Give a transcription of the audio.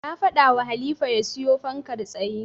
Na faɗawa Halifa ya siyo fankar tsaye.